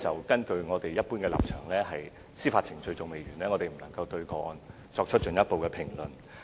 根據我們一般的立場，在司法程序完成前，我們不會對個案作進一步評論。